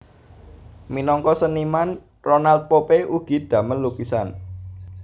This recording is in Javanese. Minangka seniman Ronald Pope ugi damel lukisan